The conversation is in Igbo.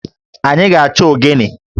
Anyị ga-achọ ogene